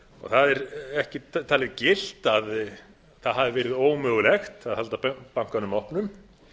það er ekki talið gilt að það hafi verið ómögulegt að halda bankanum opnum